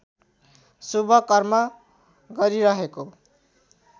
शुभ कर्म गरिहेको